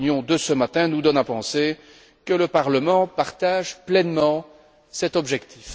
La réunion de ce matin nous donne à penser que le Parlement partage pleinement cet objectif.